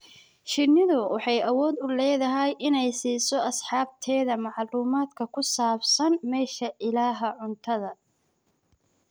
Shinnidu waxay awood u leedahay inay siiso asxaabteeda macluumaadka ku saabsan meesha ilaha cuntada.